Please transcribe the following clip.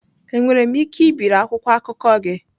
Enwere m ike ibiri akwụkwọ akụkọ gị?